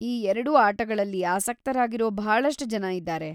ಈ ಎರ್ಡೂ ಆಟಗಳಲ್ಲಿ ಆಸಕ್ತರಾಗಿರೋ ಭಾಳಷ್ಟ್ ಜನ ಇದಾರೆ.